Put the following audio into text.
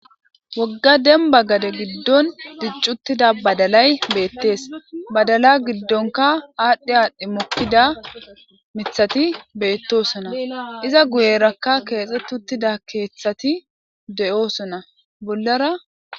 wogga denba gade giddon diccuttida badalay beettees badala giddonka aadhdhi aadhdhi mokkida mithati beettosona iza guyerakka keexxetuttida keeththati de7oosona bollara